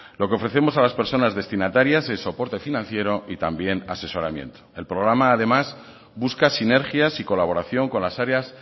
lo que ofrecemos a las personas destinatarias es soporte financiero y también asesoramiento el programa además busca sinergias y colaboración con las áreas